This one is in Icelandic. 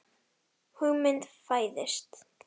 Hugmynd fæðist.